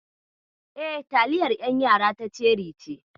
E, taliyar ƴan yara ta ceri ce.